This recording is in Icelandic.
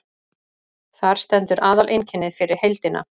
Þar stendur aðaleinkennið fyrir heildina.